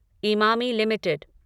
Emami limited